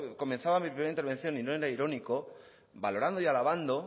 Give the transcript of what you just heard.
comenzaba mi primera intervención y no era irónico valorando y alabando